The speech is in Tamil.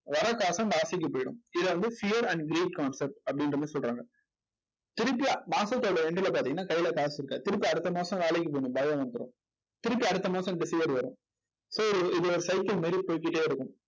வர்ற காசும் போயிடும். இதை வந்து fear and greed concept அப்படின்ற மாதிரி சொல்றாங்க. திருப்பியும் மாசத்தோட end ல பார்த்தீங்கன்னா கையில காசு இருக்காது. திருப்பி அடுத்த மாசம் வேலைக்கு போகணும் பயம் வந்துடும் திருப்பி அடுத்த மாசம் இந்த fear வரும் so இது ஒரு cycle மாதிரி போய்க்கிட்டே இருக்கும்.